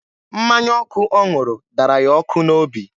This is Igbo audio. Mmanya ọkụ ọ ṅụrụ dara ya ọkụ n'obi.